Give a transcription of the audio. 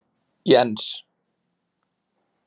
Jens